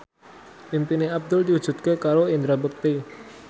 impine Abdul diwujudke karo Indra Bekti